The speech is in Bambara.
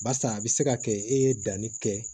Barisa a bɛ se ka kɛ e ye danni kɛ